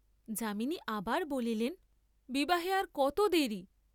যামিনী আবার বলিলেন বিবাহে আর কত দেরি?